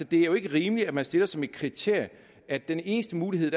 det er jo ikke rimeligt at man stiller som et kriterie at den eneste mulighed